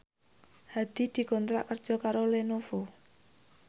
Hadi dikontrak kerja karo Lenovo